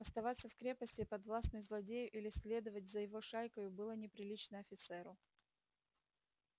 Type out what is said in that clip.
оставаться в крепости подвластной злодею или следовать за его шайкою было неприлично офицеру